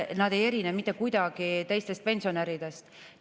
Nad ei erine mitte kuidagi teistest pensionäridest.